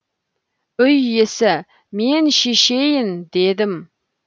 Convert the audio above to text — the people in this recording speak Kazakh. үй иесі мен шешейін дедім